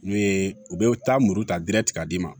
N'u ye u bɛ taa muru ta ka d'i ma